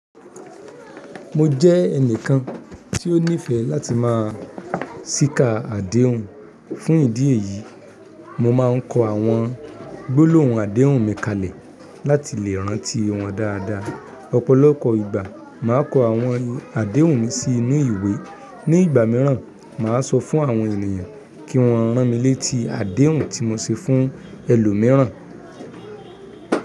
Mo jẹ́ ẹnìkan tí ó nífẹ̀ẹ́ láti máa ṣíká àdéhùn. Fún ìdí èyí, mo máa ń kọ àwọn gbólóhùn àdéhùn mi kalẹ̀ láti lè rántí wọn dáadáa. Ọ̀pọ̀lọpọ̀ ìgbà, màá kọ àwọn àdéhùn mi sí inú ìwé. Ní ìgbà mìíràn, màá sọ fún àwọn ènìyàn kí wọ́n rán mi létí àdéhùn tí mo ṣe fún ẹlòmíràn.